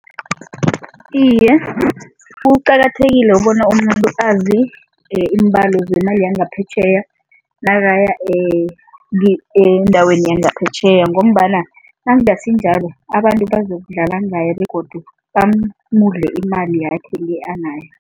Iye, kuqakathekile bona umuntu azi iimbalo zemali yangaphetjheya nakaya endaweni yangaphetjheya ngombana nakungasinjalo abantu bazokudlala ngayo begodu bamudle imali yakhe le anayo.